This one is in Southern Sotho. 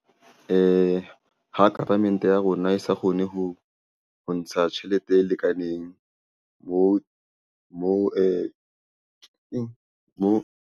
Ha government-e ya rona e sa kgone ho ho ntsha tjhelete e lekaneng moo mo .